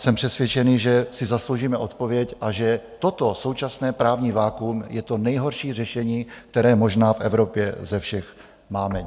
Jsem přesvědčený, že si zasloužíme odpověď a že toto současné právní vakuum je to nejhorší řešení, které možná v Evropě ze všech máme.